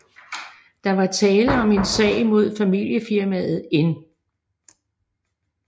Der var tale om en sag mod familiefirmaet N